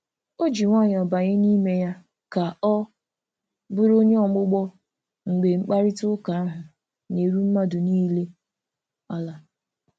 O ji nwayọọ banye n'ime ya ka ọ bụrụ onye ogbugbo mgbe mkparịta ụka ahụ na-eru mmadụ niile ala.